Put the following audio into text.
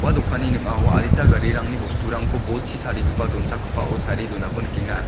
dokanni ning·ao adita garirangni bosturangko bolchi tarigipa donchakgipao tarie donako nikenga.